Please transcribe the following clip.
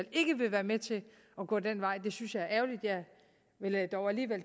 ikke vil være med til at gå den vej det synes jeg er ærgerligt jeg